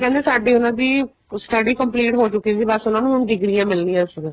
ਕਹਿੰਦੇ ਆ ਸਾਡੀ ਉਹਨਾ ਦੀ study complete ਹੋ ਚੁੱਕੀ ਸੀ ਬੱਸ ਹੁਣ ਉਹਨਾ ਨੂੰ ਡਿੱਗਰੀਆਂ ਮਿਲਣੀਆਂ ਸੀ ਬੱਸ